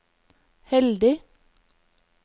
heldig